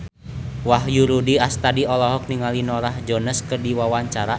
Wahyu Rudi Astadi olohok ningali Norah Jones keur diwawancara